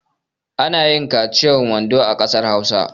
Ana yin kaciyar wando a ƙasar Hausa.